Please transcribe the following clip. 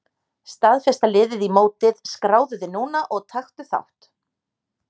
Staðfesta liðið í mótið Skráðu þig núna og taktu þátt!